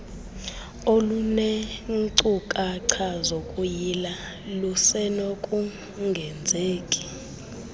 olunenkcukacha zokuyila lusenokungenzeki